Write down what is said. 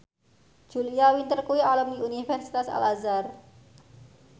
Julia Winter kuwi alumni Universitas Al Azhar